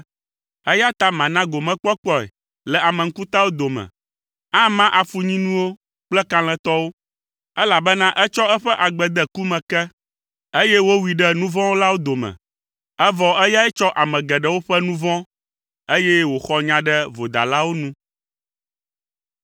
eya ta mana gomekpɔkpɔe le ame ŋkutawo dome. Ama afunyinuwo kple kalẽtɔwo, elabena etsɔ eƒe agbe de ku me ke, eye wowui ɖe nu vɔ̃ wɔlawo dome ene; evɔ eyae tsɔ ame geɖewo ƒe nu vɔ̃, eye wòxɔ nya ɖe vodalawo nu.